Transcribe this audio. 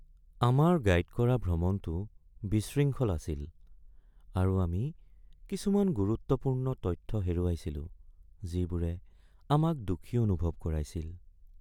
আমাৰ গাইড কৰা ভ্ৰমণটো বিশৃংখল আছিল আৰু আমি কিছুমান গুৰুত্বপূৰ্ণ তথ্য হেৰুৱাইছিলো যিবোৰে আমাক দুখী অনুভৱ কৰাইছিল।